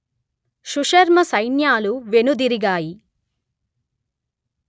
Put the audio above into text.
సుశర్మ సైన్యాలు వెనుదిరిగాయి